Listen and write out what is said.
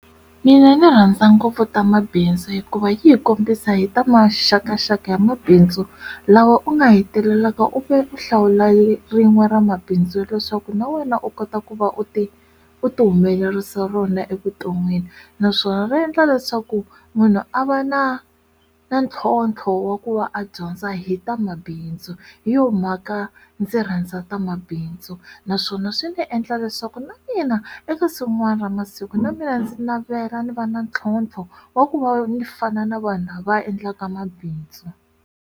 Mina ni rhandza ngopfu ta mabindzu hikuva yi hi kombisa hi ta maxakaxaka ya mabindzu lawa u nga hetelelaka u vhe u hlawula ri rin'we ra mabindzu ya leswaku na wena u kota ku va u ti u ti humelerisa rona evuton'wini naswona ri endla leswaku munhu a va na na ntlhontlho wa ku va a dyondza hi tamabindzu hi yo mhaka ndzi rhandza tamabindzu naswona swi ndzi endla leswaku na mina ekusuhi rin'wani ra masiku na mina ndzi navela ni va na ntlhontlho wa ku va ni fana na vanhu lava va endlaka mabindzu.